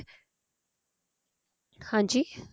ਹਾਂਜੀ